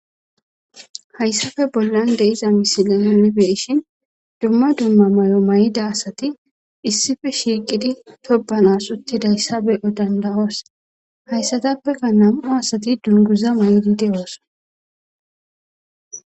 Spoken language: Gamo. hayssafe bollan de'iza misile imibeishin dumma dumma may7o may7ida asati issife shiiqidi tobanas uttidayssa be7o danda7oos hayssatappeka nam7u asati dunguza may7idi de7o asa